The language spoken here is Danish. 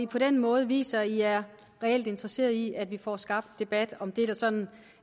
på den måde viser i er reelt interesseret i at vi får skabt en debat om det der sådan